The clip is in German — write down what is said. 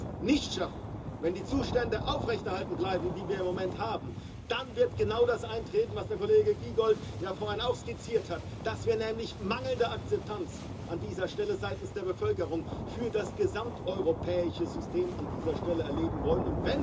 Wenn wir das nicht schaffen, wenn die Zustände aufrechterhalten bleiben, die wir im Moment haben, dann wird genau das eintreten, was der Kollege Giegold ja vorhin auch skizziert hat, dass wir nämlich mangelnde Akzeptanz seitens der Bevölkerung für das gesamteuropäische System an dieser Stelle erleben werden.